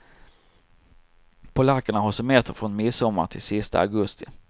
Polackerna har semester från midsommar till sista augusti.